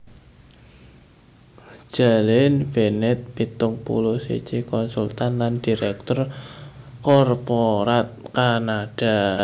Jalynn Bennett pitung puluh siji konsultan lan diréktur korporat Kanada